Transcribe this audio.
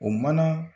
O mana